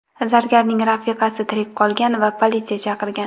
Zargarning rafiqasi tirik qolgan va politsiya chaqirgan.